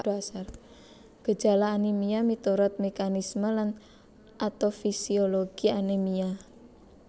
Gejala anemia minurut mekanisme lan atofisiologi anemia